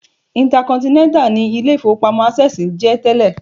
Intercontinental ni ilé-ìfowópamọ́ Access ń jẹ́ tẹ́lẹ̀